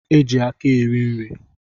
E ji aka eri nri